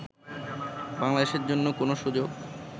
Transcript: বাংলাদেশের জন্য কোন সুযোগ